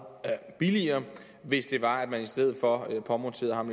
billigere hvis det var at man i stedet for påmonterede ham